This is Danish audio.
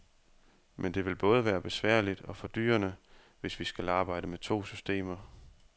Men det vil både være besværligt og fordyrende, hvis vi skal arbejde med to systemer.